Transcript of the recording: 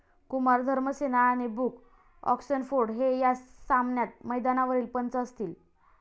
कुमार धर्मसेना आणि Bruce Oxenford हे या सामन्यात मैदानावरील पंच असतील.